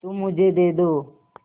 तुम मुझे दे दो